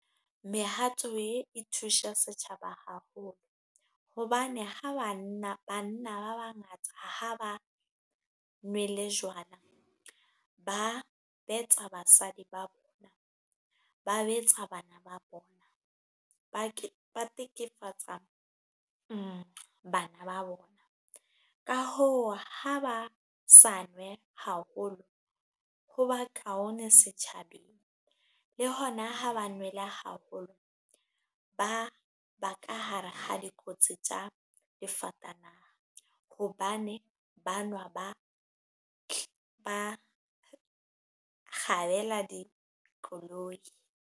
Mehato e e thusa setjhaba haholo hobane ha banna ba bangata ha ba nwele jwala, ba betsa basadi ba bona, ba betsa bana ba bona. Ba tekefatsa bana ba bona. Ka hoo ha ba sa nwe haholo ho ba kaone setjhabeng, le hona ha ba nwele haholo ba ba ka hare ha dikotsi tsa difatanaha hobane ba nwa ba kgabela dikoloi.